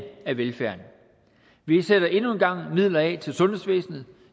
af velfærden vi sætter endnu en gang midler af til sundhedsvæsenet